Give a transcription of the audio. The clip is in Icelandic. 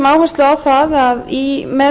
leggur áherslu á að með